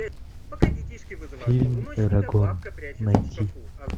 фильм эрагон найти